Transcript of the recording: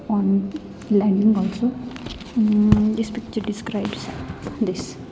On landing also um this picture describes this.